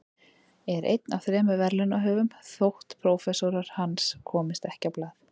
Er einn af þremur verðlaunahöfum þótt prófessorar hans komist ekki á blað.